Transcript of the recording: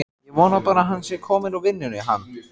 Ég vona bara að hann sé kominn úr vinnunni, hann.